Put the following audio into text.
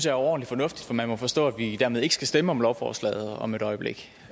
er overordentlig fornuftigt for man må forstå at vi dermed ikke skal stemme om lovforslaget om et øjeblik